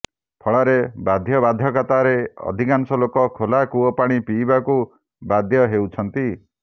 ଫଳରେ ବାଧ୍ୟବାଧକତାରେ ଅଧିକାଂଶ ଲୋକ ଖୋଲା କୂଅ ପାଣି ପିଇବାକୁ ବାଧ୍ୟ ହେଉଛନ୍ତି